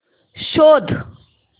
शोध